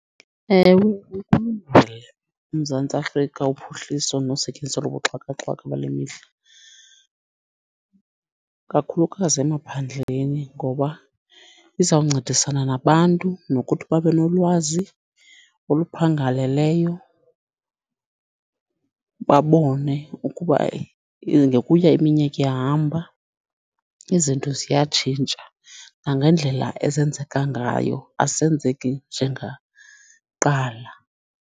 Ewe uMzantsi Afrika uphuhliso nosetyenziso lobuxhakaxhaka bale mihla. Kakhulukazi emaphandleni ngoba izawuncedisana nabantu nokuthi babenolwazi oluphangaleleyo babone ukuba ngokuya iminyaka ihamba izinto ziyatshintsha, nangendlela ezenzeka ngayo azisenzeki njengakuqala.